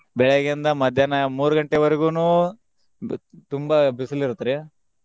ಬೆಳೆಗ್ಗೆಯಿಂದ ಮಧ್ಯಾಹ್ನ ಮೂರ್ ಗಂಟೆವರೆಗುನು ಬಿ~ ತುಂಬಾ ಬಿಸಲ್ ಇರುತ್ರಿ.